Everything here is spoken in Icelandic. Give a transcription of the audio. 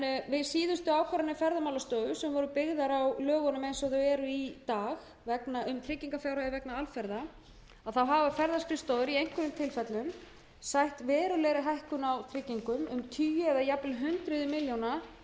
við síðustu ákvarðanir ferðamálastofu sem voru byggðar á lögunum eins og þau eru í dag um tryggingarfjárhæðir vegna alferða hafa ferðaskrifstofur í einhverjum tilfellum sætt verulegri hækkun á tryggingum um tugi eða jafnvel hundruð